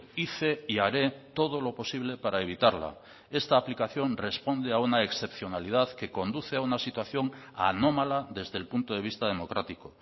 hice y haré todo lo posible para evitarla esta aplicación responde a una excepcionalidad que conduce a una situación anómala desde el punto de vista democrático